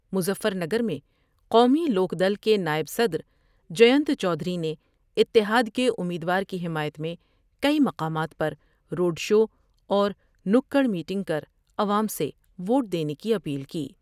مظفرنگر میں قومی لوک دل کے نائب صد رجبینت چودھری نے اتحاد کے امیدوار کی حمایت میں کئی مقامات پر روڈ شواورنگر میٹنگ کرعوام سے ووٹ دینے کی اپیل کی ۔